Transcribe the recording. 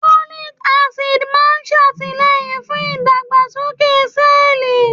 Folic Acid máa ń ṣàtìlẹ́yìn fún ìdàgbàsókè sẹ́ẹ̀lì